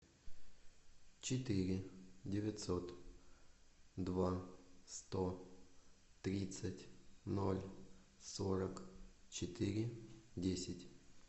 четыре девятьсот два сто тридцать ноль сорок четыре десять